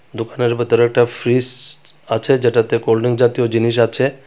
দোকানের ভেতরে একটা ফ্রিজ আছে যেটাতে কোল্ড ড্রিংক জাতীয় জিনিস আছে।